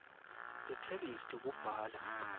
tetheksthi kubhala